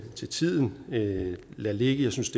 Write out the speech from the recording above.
til tiden lade lade ligge jeg synes